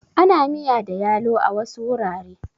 Ana miya da yalo a wasu wurare.